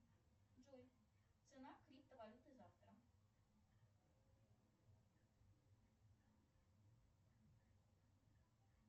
джой цена криптовалюты завтра